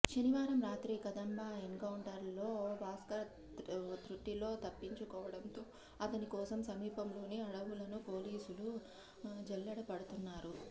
శనివారం రాత్రి కదంబా ఎన్కౌంటర్లో భాస్కర్ తృటిలో తప్పించుకోవడంతో అతని కోసం సమీపంలోని అడవులను పోలీసులు జల్లెడ పడుతున్నారు